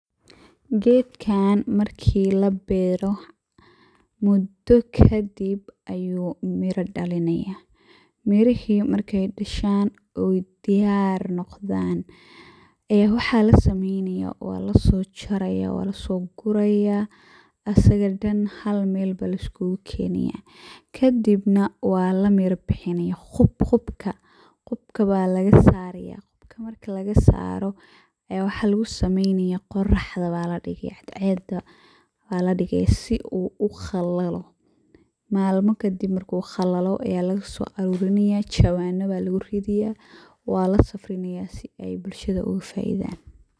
Gedkan marki labero mudo kadib ayu miro dalinaya, mirihi markey dashan oo diyar noqdan aya waxa lasameynaya walasoguraya asaga daan hal meel aya laiskugukenaya kadibna walamiro bixinaya qibka aya lagasaraya, marki lagassaro aya waxa lugusameynaya cadceeda aya ladigaya si uu uqalalo. Malmo kadib marku qalalo aya lagaso aruranaya jawano aya luguridaya walasafrinaya si ey bulshadu ogafaidan.